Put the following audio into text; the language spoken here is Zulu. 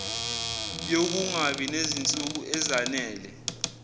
yokungabi nezinsuku ezanele